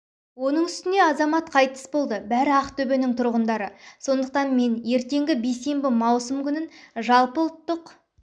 оның үстіне азамат қайтыс болды бәрі ақтөбенің тұрғындары сондықтан мен ертеңгі бейсенбі маусым күнін жалпыұлттық